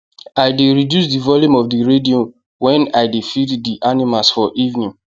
i dey reduce the volume of the radion wen i dey feed the the animals for evening